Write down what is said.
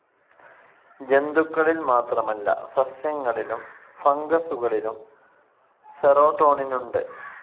ജന്തുക്കളിൽ മാത്രമല്ല, സസ്യങ്ങളിലും ഫംഗസുകളിലും സെറോടോണിനുണ്ട്.